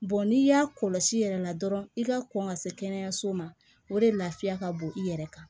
n'i y'a kɔlɔsi i yɛrɛ la dɔrɔn i ka kɔn ka se kɛnɛyaso ma o de laafiya ka bon i yɛrɛ kan